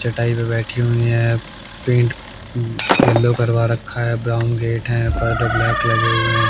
चटाई पे बैठी हुई है पेंट येलो करवा रखा है ब्राउन गेट हैं पर्दे ब्लैक लगे हुए हैं।